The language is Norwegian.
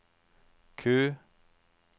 Q